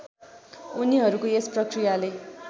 उनीहरूको यस प्रक्रियाले